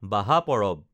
বাহা পৰৱ